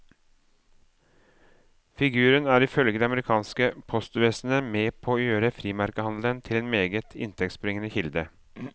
Figuren er ifølge det amerikanske postvesenet med på å gjøre frimerkehandelen til en meget inntektsbringende kilde.